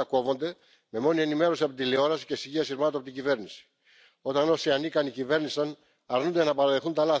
exemple pour les femmes. Il doit être modernisé, bien sûr, mais pas seulement en lien avec le vieillissement de la population, mais aussi en fonction des nouvelles formes de contrats.